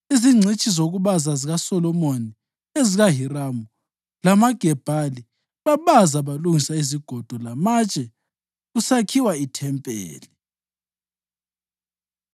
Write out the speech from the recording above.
Izingcitshi zokubaza zikaSolomoni lezikaHiramu lamaGebhali babaza balungisa izigodo lamatshe kusakhiwa ithempeli.